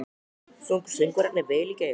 Sungu söngvararnir vel í gær?